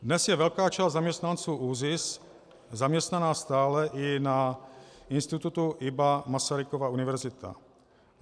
Dnes je velká část zaměstnanců ÚZIS zaměstnaná stále i na institutu IBA Masarykova univerzita.